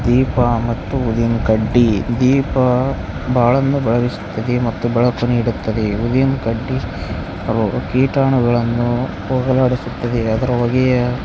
ದೀಪ ಮತ್ತು ಊದಿನಕಡ್ಡಿ ದೀಪ ಬಾಳನ್ನು ಬೆಳಗಿಸುತ್ತದ್ದೆ ಮತ್ತು ಬೆಳಕನ್ನು ನೀಡುತ್ತದೆ ಊದಿನಕಡ್ಡಿ ಕೀಟಾಣುಗಳನ್ನು ಹೋಗಲಾಡಿಸುತ್ತದೆ ಅದರ ಹೊಗೆಯ __